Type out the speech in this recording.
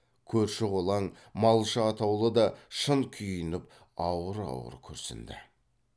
көрші қолаң малшы атаулы да шын күйініп ауыр ауыр күрсінді